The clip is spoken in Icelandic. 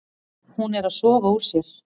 Hún er að sofa úr sér.